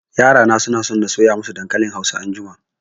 Yara na suna so na soya masu dankalin hausa anjima